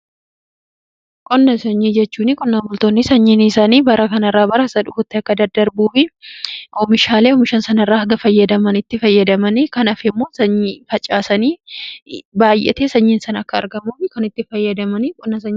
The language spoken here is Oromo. Qonna sanyii jechuun qonna bultoonni sanyii isaanii bara kan irraa baraa isa dhufutti akka daddarbuufi oomishaalee oomishan san irra hanga fayyadaman itti fayyadamani kan hafe immoo facaasani baay'atee sanyiin san akka argamuu kan itti fayyadamaniidha.